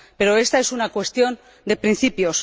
Pero esta es una cuestión de principios.